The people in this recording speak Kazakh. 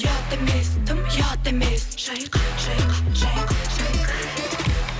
ұят емес дым ұят емес шайқа шайқа шайқа шайқа